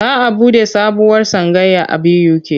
Za a buɗe sabuwar tsangaya a BUK.